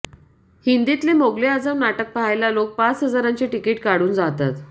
हिंदीतले मोगले आझम नाटक पाहायला लोक पाच हजारांचे तिकिट काढून जातात